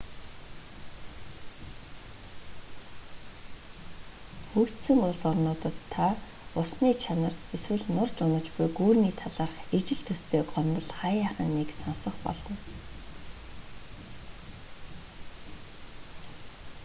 хөгжсөн улс орнуудад та усны чанар эсвэл нурж унаж буй гүүрний талаарх ижил төстэй гомдол хааяахан нэг сонсох болно